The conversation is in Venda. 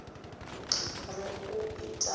ri u i ritha wa